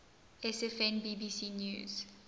sfn bbc news